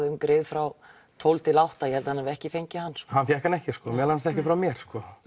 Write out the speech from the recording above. um grið frá tólf til átta ég held hann hafi ekki fengið hann hann fékk hann ekki sko meðal annars frá mér